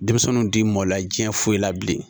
Denmisɛnninw ti mɔla jiɲɛ foyi la bilen